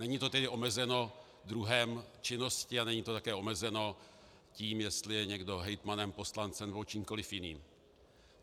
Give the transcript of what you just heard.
Není to tedy omezeno druhem činnosti a není to také omezeno tím, jestli je někdo hejtmanem, poslancem nebo čímkoli jiným.